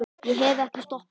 Ég hef ekki stoppað síðan.